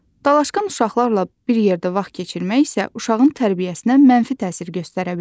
Dalaşqan uşaqlarla bir yerdə vaxt keçirmək isə uşağın tərbiyəsinə mənfi təsir göstərə bilər.